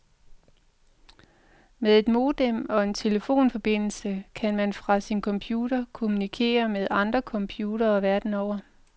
Med et modem og en telefonforbindelse kan man fra sin computer kommunikere med andre computere verden over.